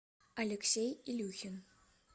алексей илюхин